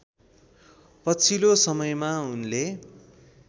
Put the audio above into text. पछिल्लो समयमा उनले